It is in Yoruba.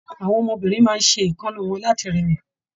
Àwọn ọmọbìnrin máa n ṣe èékánná wọn láti rẹwa.